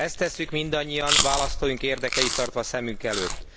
Ezt tesszük mindannyian választóink érdekeit tartva szemünk előtt.